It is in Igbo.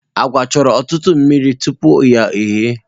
Agwa chọrọ ọtụtụ mmiri tupu ya ehie.